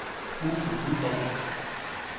Uffe Nyborg